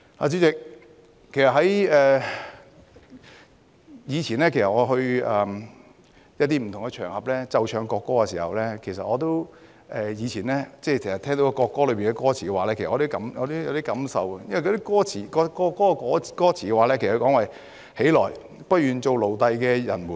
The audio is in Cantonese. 主席，其實以前我去一些不同場合，奏唱國歌，聽到國歌歌詞時，我也有一點感受，歌詞提到："起來！不願做奴隸的人們！